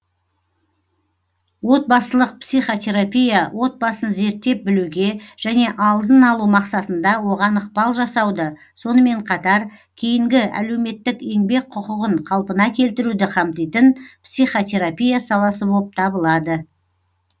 отбасылық психотерапия отбасын зерттеп білуге және алдын алу мақсатында оған ықпал жасауды сонымен қатар кейінгі әлеуметтік еңбек құқығын қалпына келтіруді қамтитын психотерапия саласы боп табылады